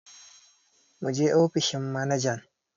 Muje ofishin manajan!